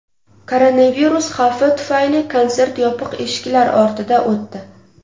Koronavirus xavfi tufayli konsert yopiq eshiklar ortida o‘tdi.